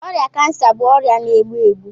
Ọrịa cancer bụ ọrịa na-egbu egbu